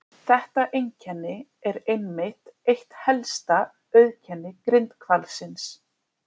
Þetta einkenni er einmitt eitt helsta auðkenni grindhvalsins.